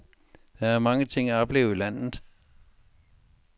Der er mange ting at opleve i landet.